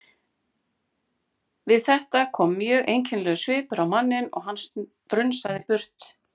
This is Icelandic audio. Við þetta kom mjög einkennilegur svipur á manninn og hann strunsaði burt.